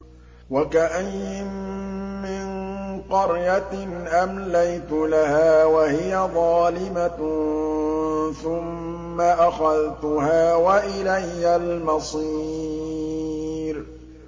وَكَأَيِّن مِّن قَرْيَةٍ أَمْلَيْتُ لَهَا وَهِيَ ظَالِمَةٌ ثُمَّ أَخَذْتُهَا وَإِلَيَّ الْمَصِيرُ